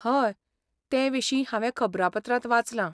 हय, ते विशीं हांवें खबरापत्रांत वाचलां.